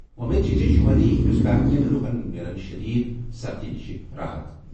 وۄمید چھِ زِ شُمٲلی ہِنٛدُستان کیٚن لُکن مِلَن شٔدیٖد سردی نِش راحت۔